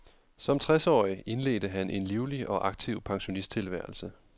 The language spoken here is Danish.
Som tres årig indledte han en livlig og aktiv pensionisttilværelse.